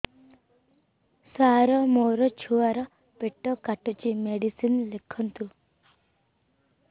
ସାର ମୋର ଛୁଆ ର ପେଟ କାଟୁଚି ମେଡିସିନ ଲେଖନ୍ତୁ